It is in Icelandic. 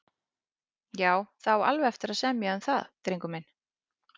Já, það á alveg eftir að semja um það, drengur minn.